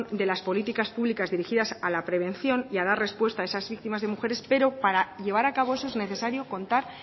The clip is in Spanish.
de las políticas públicas dirigidas a la prevención y a dar respuesta a esas víctimas de mujeres pero para llevar a cabo eso es necesario contar